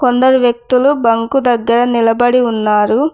అందరు వ్యక్తులు బంకు దగ్గర నిలబడి ఉన్నారు.